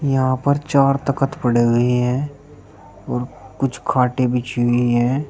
यहाँ पर चार तख़्त पड़े हुए है और कुछ खाटे बिछी हुई है।